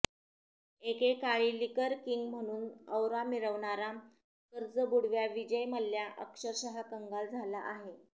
एकेकाळी liquor king म्हणून aura मिरवणारा कर्जबुडव्या विजय मल्या अक्षरशः कंगाल झाला आहे